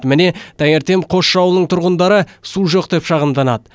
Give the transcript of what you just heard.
міне таңертең қосшы ауылының тұрғындары су жоқ деп шағымданады